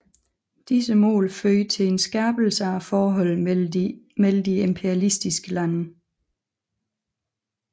Disse mål førte til skærpelse af forholdene mellem de imperialistiske lande